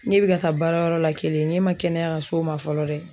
Ne bɛ ka taa baarayɔrɔ la kelen ne ma kɛnɛya ka s'o ma fɔlɔ dɛ